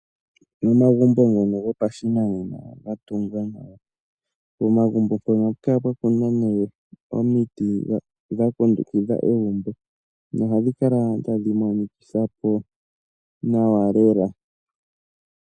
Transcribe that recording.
Omagumbo ngono goshinanena ga tungwa nawa. Pomagumbo mpono ohapu kala pwa kunwa omiti dha kundukidha egumbo nohadhi kala tadhi monikitha po nawa lela.